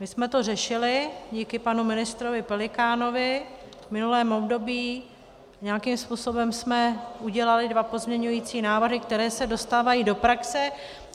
My jsme to řešili díky panu ministrovi Pelikánovi v minulém období, nějakým způsobem jsme udělali dva pozměňovací návrhy, které se dostávají do praxe.